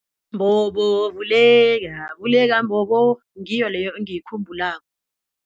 Mbobo vuleka, vuleka mbobo, ngiyo leyo engiyikhumbulako.